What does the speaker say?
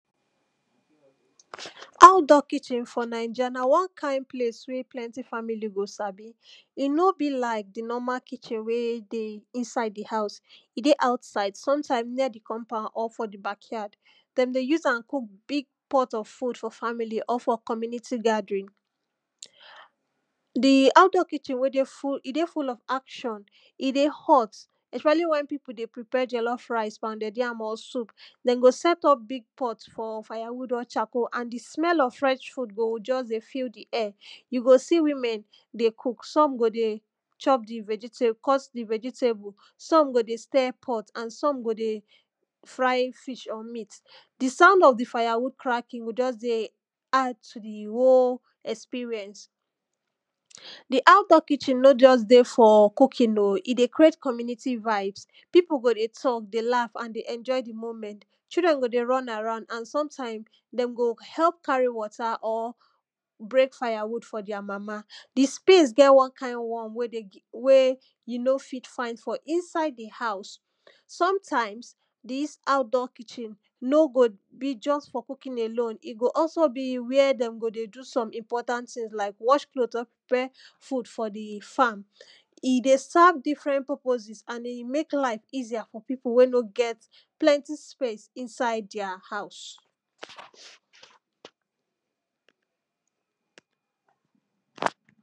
Outdoor kitchen for Naija na one kind place wen plenti family go sabi E no be like do normal kitchen wey dey inside di house E dey outside, sometimes near di compound or for di backyard dem dey use am cook big pot of food for di family or for community gathering Di outdoor kitchen wey dey full, e dey full of action, e dey hot especially when people dey prepare Jollof rice, pounded yam or soup, dem go set up big pot for firewood or charcoal and di smell of fresh food go just dey fill di air You go see women dey come, some go dey chop di vegetables di vegetables, some go dey stir pot and some go dey fry fish or meat di sound of the firewood crackling go just dey add to di whole experience di outdoor kitchen no just dey for cooking o e dey create community vibes people go dey talk dey laugh, and dey enjoy di moment Children go dey run around, and sometimes, dem go help carry water or break firewood for dia mama di space get one kind warm wey di wey you no fit find for inside di house Sometimes, dis outdoor kitchen no go be just for cooking alone e go also be where dem go dey do some important things like wash clothes or prepare food for di farm E dey serve different purposes and e dey make life easier for people wey no get plenty space inside dia house